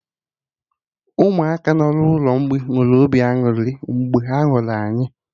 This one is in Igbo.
Ụmụaka nọ n'ụlọ mgbei nwere obi aṅụrị mgbe ha hụrụ anyị